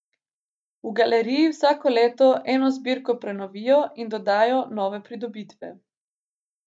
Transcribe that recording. V galeriji vsako leto eno zbirko prenovijo in dodajo nove pridobitve.